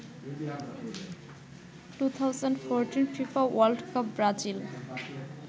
2014 Fifa world cup Brazil